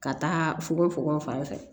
Ka taa fogofogo fanfɛ